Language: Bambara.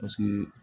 Paseke